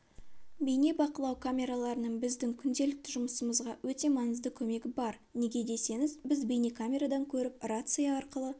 бейнебақылау камераларының біздің күнделікті жұмысымызға өте маңызды көмегі бар неге десеңіз біз бейнекамерадан көріп рация арқылы